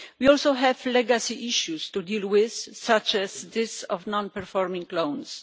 We also have legacy issues to deal with, such as non performing loans.